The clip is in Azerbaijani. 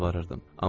Yalvarırdım.